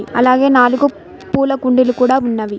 అలాగే నాలుగు పూల కుండీలు కూడా ఉన్నవి.